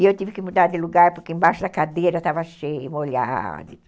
E eu tive que mudar de lugar porque embaixo da cadeira estava cheio, molhado.